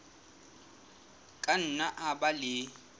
ka nna a ba le